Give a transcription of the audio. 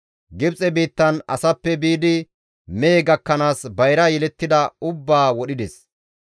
Gibxe biittan asappe biidi mehe gakkanaas bayra yelettida ubbaa wodhides.